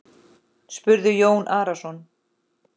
spurði Jón Arason.